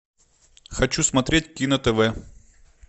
хочу смотреть кино тв